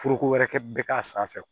Foroko wɛrɛ kɛ bɛ k'a sanfɛ